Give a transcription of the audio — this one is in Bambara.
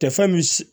Tɛ fɛn min si